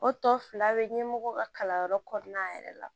O tɔ fila bɛ ɲɛmɔgɔ ka kalanyɔrɔ kɔnɔna yɛrɛ la